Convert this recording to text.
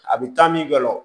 A bɛ taa min kɛ o